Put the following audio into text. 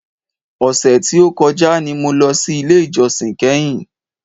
Ọ̀sẹ̀ tí o kọjá ni mo lọ sí ilé ìjósìn kẹ́hìn.